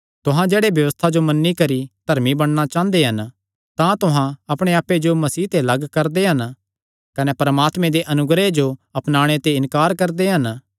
तुहां जेह्ड़े व्यबस्था जो मन्नी करी धर्मी बणना चांह़दे हन तां तुहां अपणे आप्पे जो मसीह ते लग्ग करदे हन कने परमात्मे दे अनुग्रह जो अपनाणे ते इन्कार करदे हन